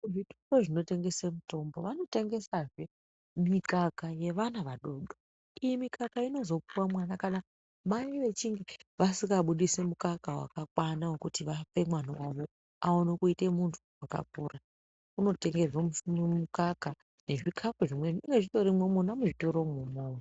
Muzvitoro munotengeswa mitombo munotengeswahe mikaka yevana vadodori iyi mikaka inozopuwa ana kana mai vachinge vasingabudisi mukaka wakakwana wekuti vape mwana wavo aone kuita muntu akapora anotengerwa mukaka nezvikapu zvimweni zvinenge zvirimo muzvitoro imona.